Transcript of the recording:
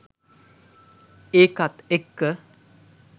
ඒකත් එක්ක